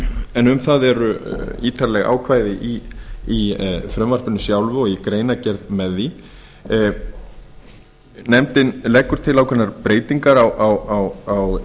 en um það eru ítarleg ákvæði í frumvarp sjálfu og í greinargerð með því nefndin leggur til ákveðnar breytingar á